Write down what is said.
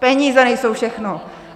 Peníze nejsou všechno!